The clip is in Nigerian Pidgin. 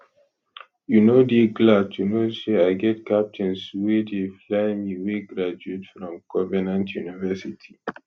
you no dey glad to know say i get captains wey dey fly me wey graduate from covenant university